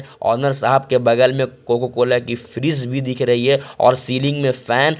owner साहब के बगल में कोका कोला की फ्रीज भी दिख रही है और सीलिंग में फैन --